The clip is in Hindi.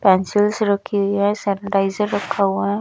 पेंसिल्स रखी है सैनिटाइजर रखा हुआ है।